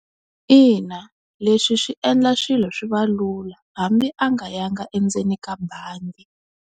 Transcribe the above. Ina leswi swi endla swilo swi va lula hambi a nga yanga endzeni ka bangi.